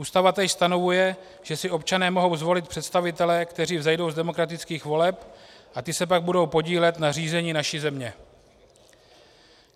Ústava též stanovuje, že si občané mohou zvolit představitele, kteří vzejdou z demokratických voleb, a ti se pak budou podílet na řízení naší země.